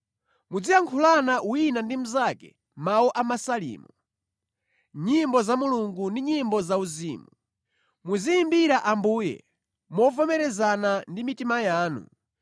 Muziyankhulana wina ndi mnzake mawu a Masalimo, nyimbo za Mulungu ndi nyimbo za uzimu. Muziyimbira Ambuye movomerezana ndi mitima yanu.